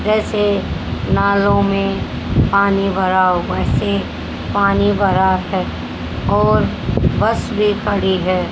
जैसे नालों में पानी भरा हुआ वैसे पानी भरा है और बस भी खड़ी है।